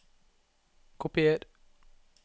Kopier